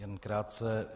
Jen krátce.